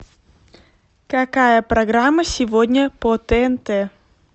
какая программа сегодня по тнт